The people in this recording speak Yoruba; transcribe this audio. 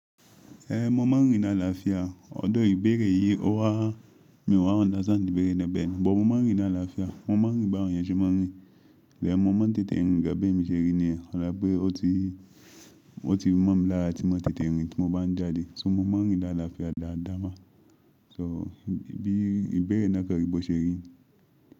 Mo máa ń rìn ní àlàáfíà although, ìbéèrè yì ò wà mí ò wà uderstand ìbéèrè ná bẹ́ẹ̀ni but mo máa ń rìn ní àlàáfíà mo máa ń rìn bí àwọn èèyàn ṣe máa ń rìn ìgbàyẹn mo máa ń tètè ń rìn gan bẹ́ èmi ṣe rí nìyẹn o la wíbẹ̀ o tì oti mo mi lára tí máa tètè rìn tí mo ban jadì so mo máa ń rìn lálàáfíà dáadáa ma so ìbéèrè ná pẹ̀lú bó ṣerí.